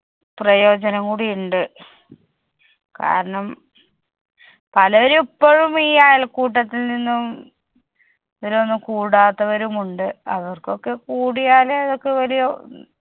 പ്രയോജനം കൂടി ഇണ്ട് കാരണം പലരും ഇപ്പോഴും ഈ അയൽക്കൂട്ടത്തിൽനിന്നും ഇതിനൊന്നും കൂടാത്തവരും ഉണ്ട്. അവർക്കൊക്കെ കൂടിയാല് അതൊക്കെ വലിയ